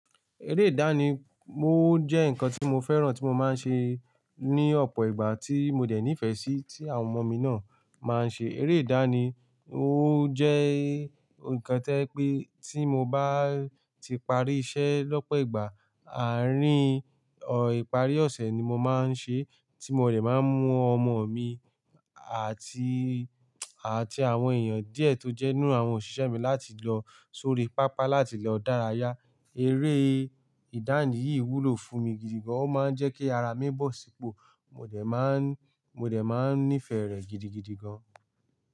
Eré ìdánì mó jẹ́ nǹkan tí mo féràn tí mo máa ń ṣe ní ọ̀pọ̀ ìgbà tí mo dẹ̀ nífẹ̀ẹ́ sí tí àwọn ọmọ mi náà máa ń ṣe. Eré ìdánì ó jẹ́ nǹkan tẹ́ pé tí mo bá ti parí iṣẹ́ lọ́pọ̀ ìgbà, àárín ìparí ọ̀sẹ̀ ni mo máa ń ṣe tí mo rẹ̀ máa ń mú ọmọ mi àti, àti àwọn èèyàn díẹ̀ tó jẹ́ nínú àwọn òṣìṣẹ́ mi láti lọ sórí pápá láti lọ dárayá. Eré ìdánì yìí wúlò fún mi gidi gan, ó máa ń jẹ́ kí ara mí bọ̀ sípò, mo dẹ̀ máa ń, mo dẹ̀ máa ń nífẹ̀ẹ́ rẹ̀ gidigidi gan.